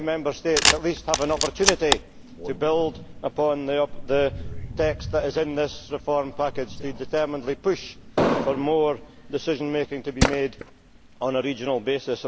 Now Member States at least have an opportunity to build on the text that is in this reform package, to determinedly push for more decision making to be made on a regional basis.